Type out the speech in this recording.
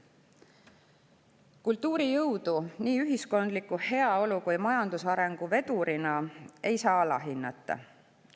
Kultuuri jõudu nii ühiskondliku heaolu kui ka majandusarengu vedurina ei saa alahinnata.